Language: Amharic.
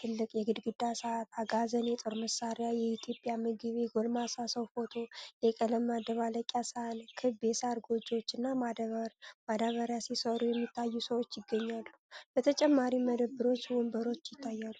ትልቅ የግድግዳ ሰዓት፣ አጋዘን፣ የጦር መሳሪያ፣ የኢትዮጵያ ምግብ፣ የጎልማሳ ሰው ፎቶ፣ የቀለም መደባለቂያ ሳህን፣ ክብ የሳር ጎጆዎችና ማዳበሪያ ሲሠሩ የሚታዩ ሰዎች ይገኛሉ። በተጨማሪም መደብርና ወንበሮች ይታያሉ።